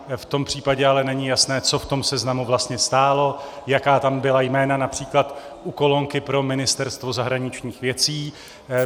V tom případě ale není jasné, co v tom seznamu vlastně stálo, jaká tam byla jména, například u kolonky pro Ministerstvo zahraničních věcí.